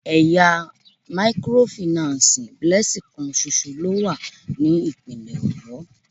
Ẹ̀ya mikorofìnánsìì Blessing kan ṣoṣo ló wà ní ìpínlè Ọ̀yọ́.